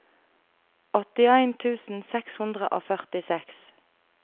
åttien tusen seks hundre og førtiseks